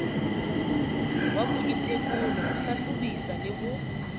wa boitekolo ho hlahlobisa le